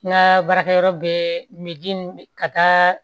N ka baarakɛyɔrɔ bɛ ka taa